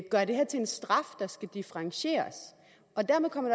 gøre det her til en straf der skal differentieres og dermed kommer